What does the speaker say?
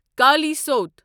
کالیاسوتہ